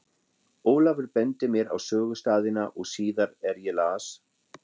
Ólafur benti mér á sögustaðina og síðar er ég las